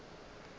a ntšha la go re